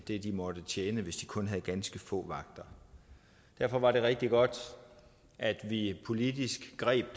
det de må tjene hvis de kun har ganske få vagter derfor var det rigtig godt at vi politisk greb